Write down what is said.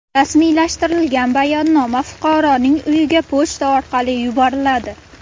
Rasmiylashtirilgan bayonnoma fuqaroning uyiga pochta orqali yuboriladi.